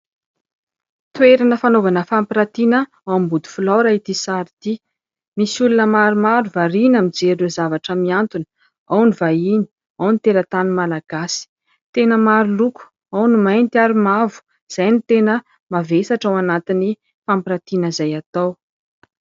Toerana fanaovana fampiratiana ao an-bodiflaora ity sary ity. Misy olona maromaro varina mijery ireo zavatra miantona, ao ny vahiny ao ny teratany malagasy. Tena maroloko, ao ny mainty, ao ny mavo, izay ny tena mavesatra ao anatin'ny fampiratiana izay atao.